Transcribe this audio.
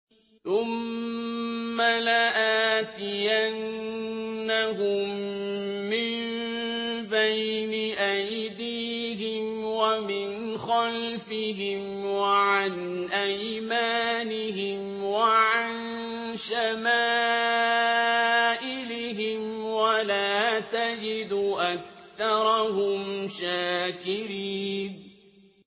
ثُمَّ لَآتِيَنَّهُم مِّن بَيْنِ أَيْدِيهِمْ وَمِنْ خَلْفِهِمْ وَعَنْ أَيْمَانِهِمْ وَعَن شَمَائِلِهِمْ ۖ وَلَا تَجِدُ أَكْثَرَهُمْ شَاكِرِينَ